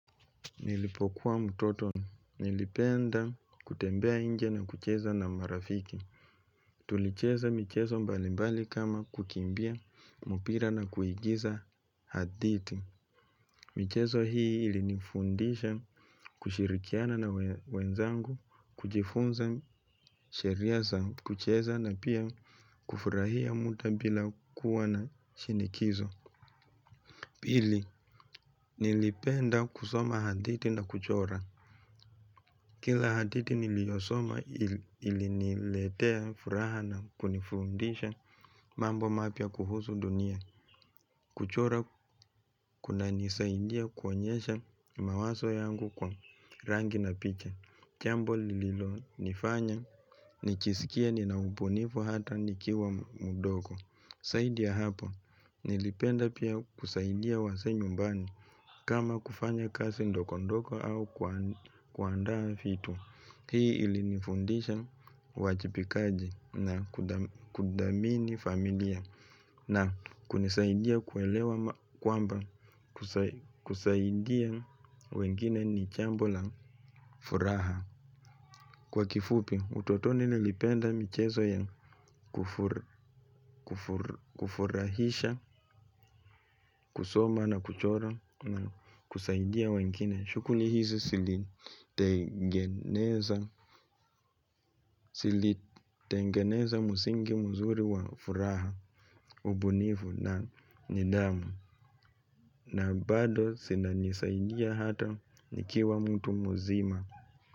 Nilipokuwa mtoto, nilipenda kutembea nje na kucheza na marafiki. Tulicheza michezo mbalimbali kama kukimbia, mpira na kuigiza hadithi. Michezo hii ilinifundisha kushirikiana na wenzangu, kujifunza sheria za kucheza na pia kufurahia muda bila kuwa na shinikizo. Pili, nilipenda kusoma hadithi na kuchora. Kila hadithi niliyosoma iliniletea furaha na kunifundisha mambo mapya kuhusu dunia. Kuchora kunanisaidia kuonyesha mawazo yangu kwa rangi na picha. Chombo lililonifanya nijisikie nina ubunifu hata nikiwa mdogo. Zaidi ya hapo, nilipenda pia kusaidia wasee nyumbani. Kama kufanya kazi ndogondogo au kuandaa vitu. Hii ilinifundisha uwajibikaji na kuthamini familia. Na kunisaidia kuelewa kwamba kusaidia wengine ni jambo la furaha. Kwa kifupi, utotoni nilipenda michezo ya kufurahisha, kusoma na kuchora na kusaidia wengine. Shughuli hizi zilitengeneza msingi mzuri wa furaha, ubunifu na nidhamu. Na bado zinanisaidia hata nikiwa mtu mulzima.